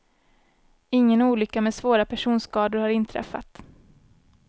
Ingen olycka med svåra personskador har inträffat.